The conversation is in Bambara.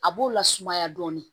A b'o lasumaya dɔɔnin